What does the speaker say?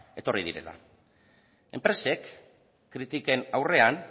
etorri direla enpresek kritiken aurrean